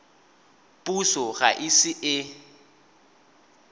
puso ga e ise e